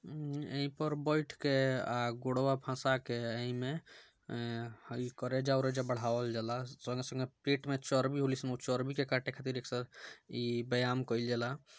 उम ई पर बैठकर अ गुड़वा फसाके अ इ मे हई करेजा उरेजा बढ़ावल जाला | संगे संगे पेट में चर्बी हो ला उ सब चर्बी के काटे खातिर ऐक्सेर इ व्ययाम करी जला |